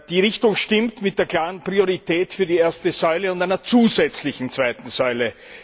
Die Richtung stimmt mit der klaren Priorität für die erste Säule und einer zusätzlichen zweiten Säule.